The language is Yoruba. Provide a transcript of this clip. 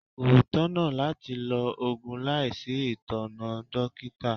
Kò tọ̀nà láti lo Ògùn láìsí itona dókítà.